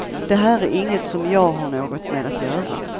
Det här är inget som jag har något med att göra.